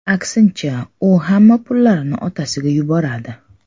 Aksincha, u hamma pullarini otasiga yuboradi.